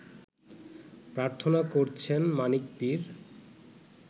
প্রার্থনা করছেন মানিক পীর